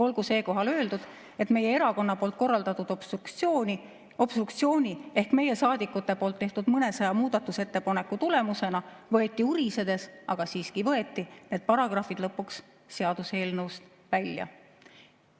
Olgu siinkohal öeldud, et meie erakonna korraldatud obstruktsiooni ehk meie saadikute tehtud mõnesaja muudatusettepaneku tulemusena võeti urisedes, aga siiski võeti, need paragrahvid seaduseelnõust lõpuks välja.